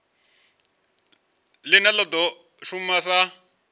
line la do shuma sa